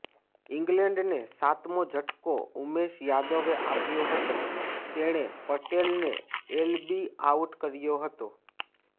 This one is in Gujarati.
ઇંગ્લેન્ડને સાતમો ઝટકો ઉમેશ યાદવે આપ્યો હતો તેણે પટેલને એલબી આઉટ કર્યો હતો